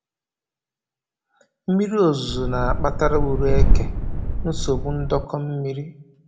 Mmiri ozuzu na-akpatara ure eke nsogbu ndọkọ mmiri